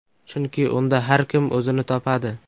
Chunki unda har kim o‘zini topadi.